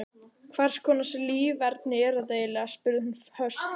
Hverskonar líferni er þetta eiginlega? spurði hún höst.